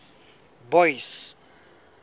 boyce